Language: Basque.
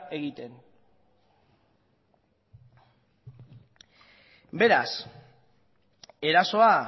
egiten beraz erasoa